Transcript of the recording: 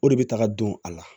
O de bɛ taga don a la